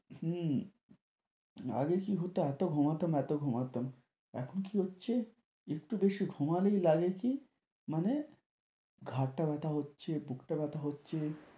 হম আগে কী হত এত ঘুমাতাম এত ঘুমাতাম, এখন কী হচ্ছে একটু বেশি ঘুমালেই লাগে কী মানে ঘাড়টা ব্যথা হচ্ছে, বুকটা ব্যথা হচ্ছে,